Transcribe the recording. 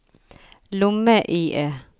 lomme-IE